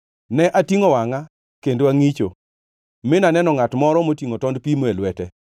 Ne atingʼo wangʼa kendo angʼicho mi naneno ngʼat moro motingʼo tond pimo e lwete!